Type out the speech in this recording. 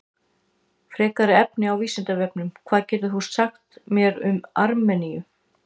Frekara lesefni á Vísindavefnum: Hvað getur þú sagt mér um Armeníu?